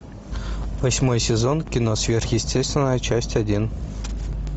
восьмой сезон кино сверхъестественное часть один